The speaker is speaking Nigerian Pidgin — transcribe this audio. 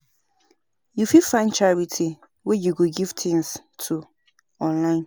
You fit find charity wey you wan give things to online